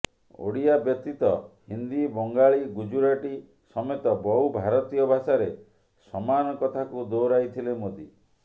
ଓଡ଼ିଆ ବ୍ୟତୀତ ହିନ୍ଦୀ ବଙ୍ଗାଳୀ ଗୁଜୁରାଟି ସମେତ ବହୁ ଭାରତୀୟ ଭାଷାରେ ସମାନ କଥାକୁ ଦୋହରାଇଥିଲେ ମୋଦି